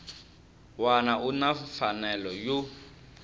wana u na mfanelo yo